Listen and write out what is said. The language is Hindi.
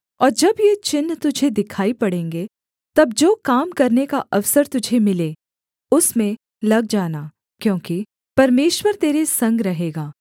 और जब ये चिन्ह तुझे दिखाई पड़ेंगे तब जो काम करने का अवसर तुझे मिले उसमें लग जाना क्योंकि परमेश्वर तेरे संग रहेगा